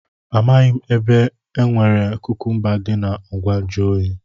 Amaghị m na e nwere kukumba dị na ngwa nju oyi.